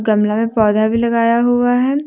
गमला में पौधा भी लगाया हुआ है।